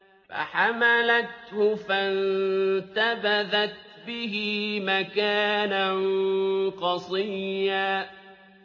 ۞ فَحَمَلَتْهُ فَانتَبَذَتْ بِهِ مَكَانًا قَصِيًّا